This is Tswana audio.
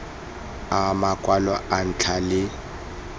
a makwalo a ntlha le